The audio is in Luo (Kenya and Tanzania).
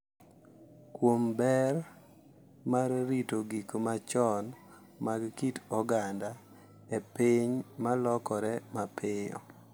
Kuom ber mar rito gik machon mag kit oganda e piny ma lokore mapiyo.